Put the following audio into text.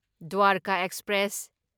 Dwarka express